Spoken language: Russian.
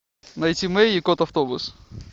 найти мэй и кот автобус